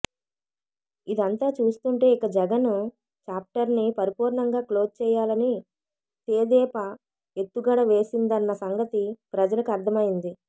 ఇదంతా చూస్తుంటే ఇక జగన్ చాప్టర్ని పరిపూర్ణంగా క్లోజ్ చేయాలని తేదేపా ఎత్తుగడ వేసిందన్న సంగతి ప్రజలకు అర్థమైంది